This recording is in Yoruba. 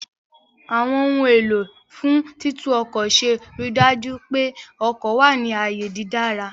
Àwọn ohun èlò fún títún ọkọ̀ ṣe ríi dájú pé ọkọ̀ wà ní ààyè dídára